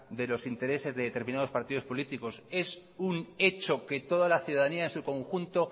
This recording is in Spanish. de los intereses de determinados partidos políticos es un hecho que toda la ciudadanía en su conjunto